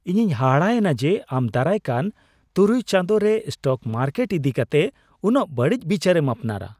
ᱤᱧᱤᱧ ᱦᱟᱦᱟᱲᱟ ᱮᱱᱟ ᱡᱮ ᱟᱢ ᱫᱟᱨᱟᱭ ᱠᱟᱱ ᱖ ᱪᱟᱸᱫᱚ ᱨᱮ ᱥᱴᱚᱠ ᱢᱟᱨᱠᱮᱴ ᱤᱫᱤ ᱠᱟᱛᱮᱜ ᱩᱱᱟᱹᱜ ᱵᱟᱹᱲᱤᱡ ᱵᱤᱪᱟᱹᱨᱮᱢ ᱟᱯᱱᱟᱨᱟ ᱾